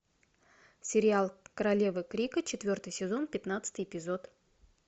сериал королева крика четвертый сезон пятнадцатый эпизод